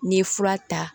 N'i ye fura ta